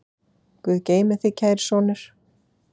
Guð geymi þig, kæri sonur.